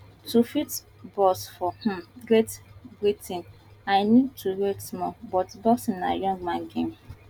to fit box for um great britain i need to wait small but boxing na young man game